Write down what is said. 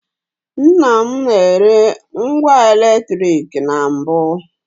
Nnam na-ere ngwa eletrik na mbụ.